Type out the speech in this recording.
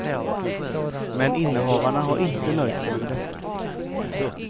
Men innehavarna har inte nöjt sig med detta.